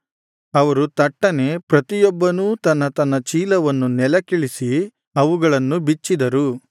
ಅವರು ತಟ್ಟನೆ ಪ್ರತಿಯೊಬ್ಬನೂ ತನ್ನ ತನ್ನ ಚೀಲವನ್ನು ನೆಲಕ್ಕಿಳಿಸಿ ಅವುಗಳನ್ನು ಬಿಚ್ಚಿದರು